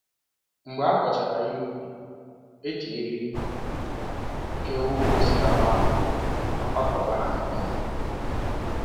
Mgbe a ghọchara ihe ubi, e ji eriri ke ụkwụ osikapa ahụ ma kwakọba ha nke ọma.